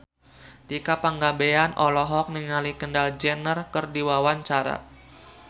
Tika Pangabean olohok ningali Kendall Jenner keur diwawancara